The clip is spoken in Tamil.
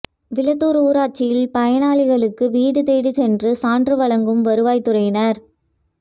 விளத்தூா் ஊராட்சியில் பயனாளிகளுக்கு வீடு தேடிச் சென்று சான்று வழங்கும் வருவாய்த்துறையினா்